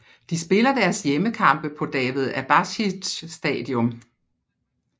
De spiller deres hjemmekampe på David Abashidze Stadium